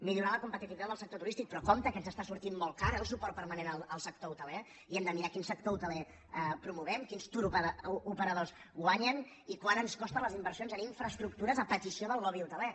millorar la competitivitat del sector turístic però compte que ens està sortint molt car eh el suport permanent al sector hoteler i hem de mirar quin sector hoteler promovem quins touroperadors hi guanyen i quant ens costen les inversions en infraestructures a petició del lobby hoteler